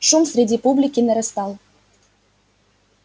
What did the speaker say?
шум среди публики нарастал